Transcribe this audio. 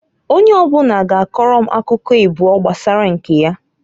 Onye ọbụna ga akọrọ m akụkọ ịbụọ gbasara nke ya.